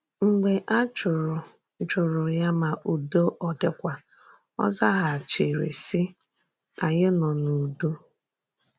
Mgbe a jụrụ̀ jụrụ̀ ya ma ùdò ọ̀ dịkwà, ò zàghàchìrì, sị: “Ányị nọ n’ùdò.”